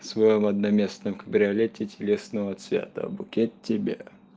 в своём одноместном кабриолете телесного цвета букет тебя